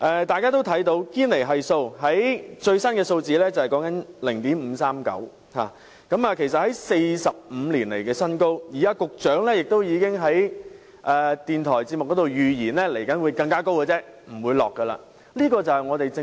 大家也留意到堅尼系數最新錄得 0.539， 其實是45年來的新高，而局長亦已在電台節目中預測未來的數字只會更高，不會下調。